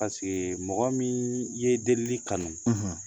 mɔgɔ min ye delili kanu